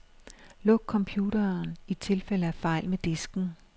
Luk computeren i tilfælde af fejl med disken.